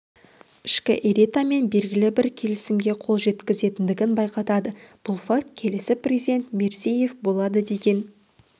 ішкі элитамен белгілі бір келісімге қол жеткізгендігін байқатады бұл факт келесі президент мирзиеев болады деген